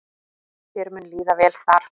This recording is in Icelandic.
Þér mun líða vel þar.